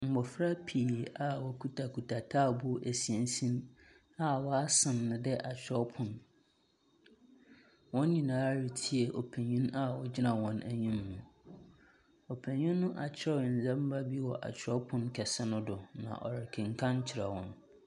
Mbofra pii a wɔkutakuta taabow a wɔasen no dɛ kyerɛwpon. Wɔn nyinaa retsei ɔpanyin a ogyina hɔn enyim no. Ɔpanyin nop akyerɛw ndzɛmba bi wɔ akyerɛwpon kɛse no do na ɔrekekan kyerɛ hɔn.